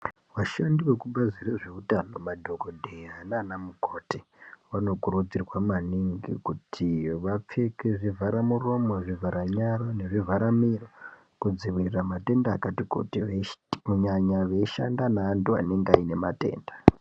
Vashandi vekubazi rezveutano madhokodheya nana mukoti vanokurudzirwa maningi kuti vapfeke zvivhara muromo, zvivhara nyara nezvivhara miro kunyanya veishanda neantu anenge ane matenda.